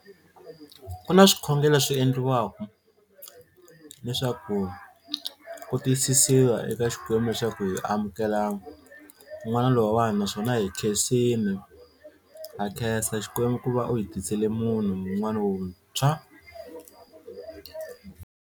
Ku na swikhongelo swi endliwaka leswaku ku tiyisisiwa eka Xikwembu leswaku hi amukela n'wana lowuwani naswona hi khensini ha khensa Xikwembu ku va u hi tisele munhu un'wana wuntshwa.